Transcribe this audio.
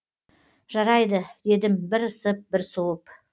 жарайды дедім бір ысып бір суып